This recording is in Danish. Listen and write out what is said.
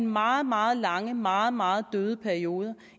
meget meget lange og meget meget døde perioder